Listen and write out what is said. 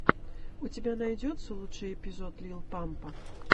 у тебя найдется лучший эпизод лил пампа